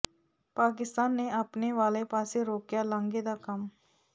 ਪਾਕਿਸਤਾਨ ਨੇ ਆਪਣੇ ਵਾਲੇ ਪਾਸੇ ਰੋਕਿਆ ਲਾਂਘੇ ਦਾ ਕੰਮ